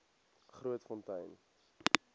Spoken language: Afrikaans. grootfontein